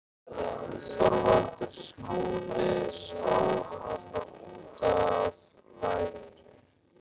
ÞORVALDUR: Skúli sló hann út af laginu.